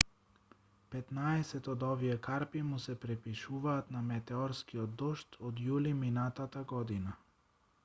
петнаесет од овие карпи му се припишуваат на метеорскиот дожд од јули минатата година